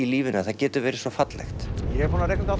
lífinu getur verið svo fallegt ég er búinn að reikna